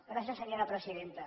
gràcies senyora presidenta